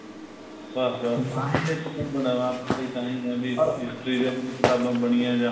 ਬੱਸ ਬੱਸ by ਤਾਂਹੀ ਹੈ ਵੀ history ਦੀਆਂ ਕ਼ਿਤਾਬਾ ਬਣੀਆਂ ਜਾਂ